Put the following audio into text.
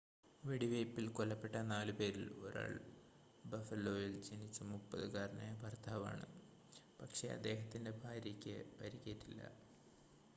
വെടിവെയ്പ്പിൽ കൊല്ലപ്പെട്ട നാലുപേരിൽ ഒരാൾ ബഫലോയിൽ ജനിച്ച 30-കാരനായ ഭർത്താവാണ് പക്ഷേ അദ്ദേഹത്തിൻ്റെ ഭാര്യയ്ക്ക് പരിക്കേറ്റില്ല